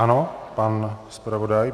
Ano, pan zpravodaj.